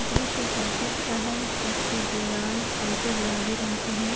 दृश्य ऑफिस का है जिसकी दीवार हल्के गुलाबी रंग की है।